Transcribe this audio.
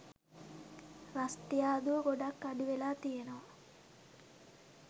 රස්තියාදුව ගොඩක් අඩුවෙලා තියනවා.